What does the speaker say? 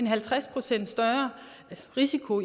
halvtreds procent større risiko